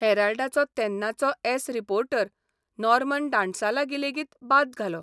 हॅराल्डा'चो तेन्नाचो एस reporter Norman डांटसालागी लेगीत बाद घालो.